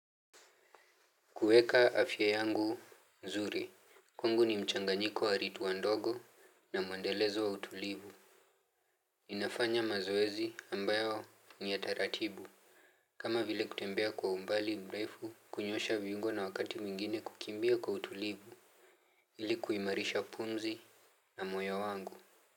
Kuieka afya yangu nzuri. Kwangu ni mchanganyiko wa ridhua ndogo na mwendelezo wa utulivu. Inafanya mazoezi ambayo ni ya taratibu. Kama vile kutembea kwa umbali mrefu kunyosha viungo na wakati mwingine kukimbia kwa utulivu. Ili kuimarisha pumzi na moyo wangu.